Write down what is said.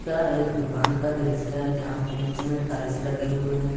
यह एक दुकान का दृश्य है जहां पर नीचे में टाइल्स लगे हुए हैं।